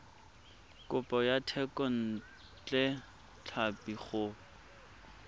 kopo ya thekontle tlhapi go